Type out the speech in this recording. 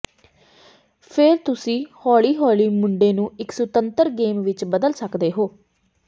ਫਿਰ ਤੁਸੀਂ ਹੌਲੀ ਹੌਲੀ ਮੁੰਡੇ ਨੂੰ ਇੱਕ ਸੁਤੰਤਰ ਗੇਮ ਵਿੱਚ ਬਦਲ ਸਕਦੇ ਹੋ